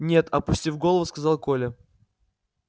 нет опустив голову сказал коля